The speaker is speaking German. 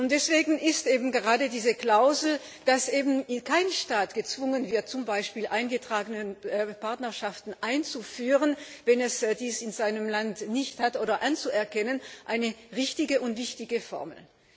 Deswegen ist eben gerade diese Klausel, dass kein Staat gezwungen wird, zum Beispiel eingetragene Partnerschaften einzuführen wenn es die in seinem Land nicht gibt oder anzuerkennen, eine richtige und wichtige Formel.